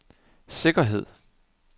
sikkerhed